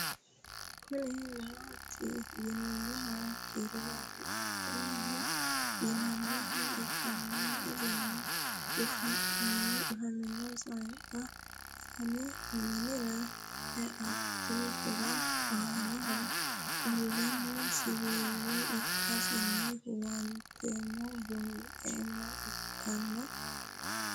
Kuni maati yinumoha ikiro mafichaho yinaniha ikanna isino cufamino sannqa fane minira eatehoro anoho qoleno siwila ikasino huwantemo bunxemoha ikana?